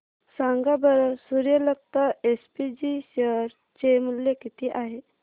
सांगा बरं Suryalata SPG share चे मूल्य किती आहे